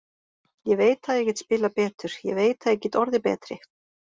Ég veit að ég get spilað betur, ég veit að ég get orðið betri.